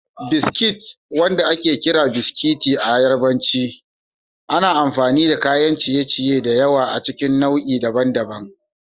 Biskit, wanda ake kira "Biskiti" a cikin Yarbanci, ana amfani da kayan ciye-ciye da yawa a cikin nau'i daban-daban.